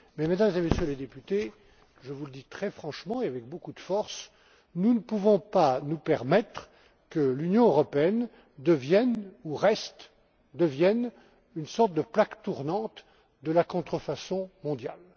Mais, Mesdames et Messieurs les députés, je vous le dis très franchement et avec beaucoup de force nous ne pouvons pas nous permettre que l'Union européenne devienne ou reste une sorte de plaque tournante de la contrefaçon mondiale.